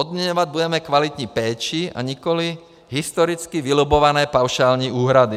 Odměňovat budeme kvalitní péči a nikoli historicky vylobbované paušální úhrady.